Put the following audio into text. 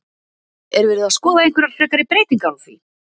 Er verið að skoða einhverjar frekari breytingar á því?